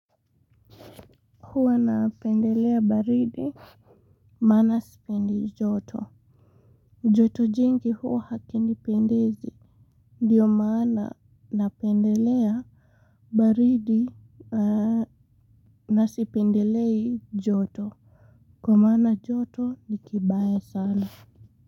Huwa napendelea baridi maana sipendi joto joto jingi huwa hakinipendezi ndio mana napendelea baridi na sipendelei joto kwa maana joto ni kibaya sana.